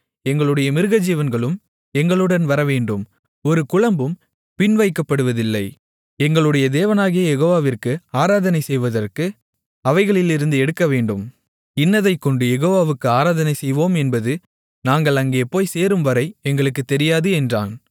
எங்களுடைய மிருகஜீவன்களும் எங்களுடன் வரவேண்டும் ஒரு குளம்பும் பின்வைக்கப்படுவதில்லை எங்களுடைய தேவனாகிய யெகோவாவிற்கு ஆராதனை செய்வதற்கு அவைகளிலிருந்து எடுக்கவேண்டும் இன்னதைக்கொண்டு யெகோவாவுக்கு ஆராதனை செய்வோம் என்பது நாங்கள் அங்கே போய்ச் சேரும்வரை எங்களுக்குத் தெரியாது என்றான்